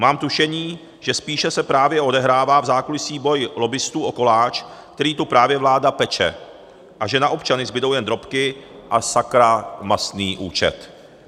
Mám tušení, že spíše se právě odehrává v zákulisí boj lobbistů o koláč, který tu právě vláda peče, a že na občany zbudou jenom drobky a sakra mastný účet.